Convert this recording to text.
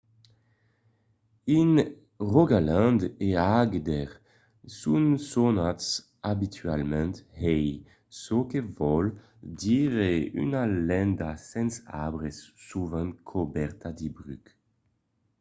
in rogaland e agder son sonats abitualament hei çò que vòl dire una landa sens arbre sovent cobèrta de bruc